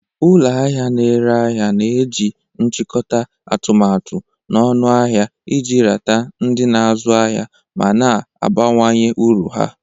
Ụlọ ahịa na-ere ahịa na-eji nchikota atụmatụ ọnụahịa iji rata ndị na-azụ ahịa ma na-abawanye uru ha.